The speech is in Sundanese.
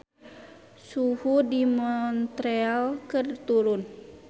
Suhu di Montreal keur turun